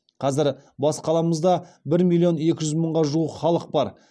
қазір бас қаламызда бір миллион екі жүз мыңға жуық халық бар